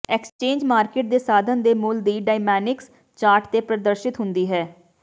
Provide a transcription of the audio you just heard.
exchange market ਦੇ ਸਾਧਨ ਦੇ ਮੁੱਲ ਦੀ ਡਾਇਨਾਮਿਕਸ ਚਾਰਟ ਤੇ ਪ੍ਰਦਰਸ਼ਿਤ ਹੁੰਦੀ ਹੈ